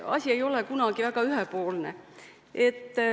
Asi ei ole kunagi väga ühepoolne.